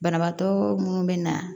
Banabaatɔ munnu be na